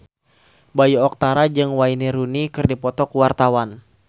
Bayu Octara jeung Wayne Rooney keur dipoto ku wartawan